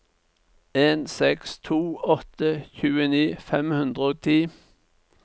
en seks to åtte tjueni fem hundre og ti